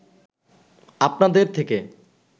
আপনাদের থেকে